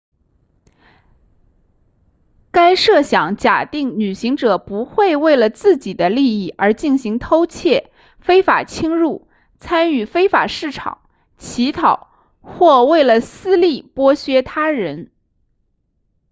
该设想假定旅行者不会为了自己的利益而进行偷窃非法侵入参与非法市场乞讨或为了私利剥削他人